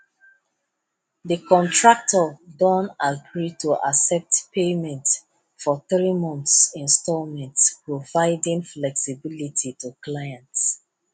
de contractor don agree to accept payment for three months installments providing flexibility to clients